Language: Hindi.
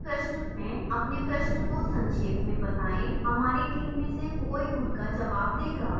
अपने प्रश्न को संक्षेप में बताएं हमारी team में से कोई उनका जवाब देगा